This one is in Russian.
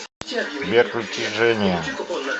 сбер включи дженни